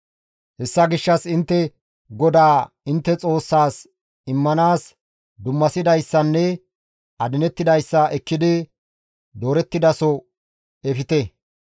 Hessa gishshas intte GODAA intte Xoossaas immanaas dummasidayssanne adinettidayssa ekkidi doorettidaso efte.